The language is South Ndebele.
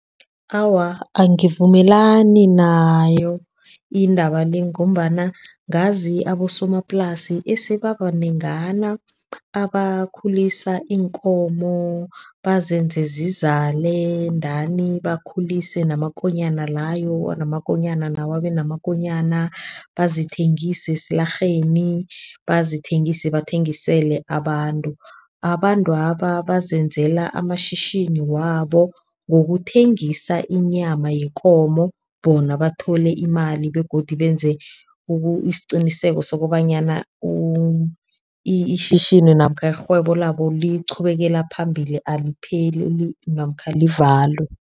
Awa angivumelani nayo indaba le ngombana ngazi abosomaplasi eseba banengana abakhululisa iinkomo, bazenze zizale ndani bakhulise namakonyana layo. Namakonyana lawo abe namakonyana. Bazithengise esilarheini bazithengise, bathengisele abantu. Abantwaba bazenzela amashishini wabo ngokuthengisa inyama yekomo bona bathole imali begodu benze isiqiniseko sokobanyana cs] ishishini namkha irhwebo labo liqhubekela phambili alipheleli namkha livalwe.